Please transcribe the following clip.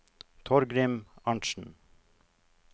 Torgrim Arntsen